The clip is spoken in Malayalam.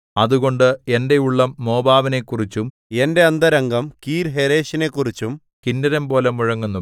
അതുകൊണ്ട് എന്റെ ഉള്ളം മോവാബിനെക്കുറിച്ചും എന്റെ അന്തരംഗം കീർഹേരെശിനെക്കുറിച്ചും കിന്നരംപോലെ മുഴങ്ങുന്നു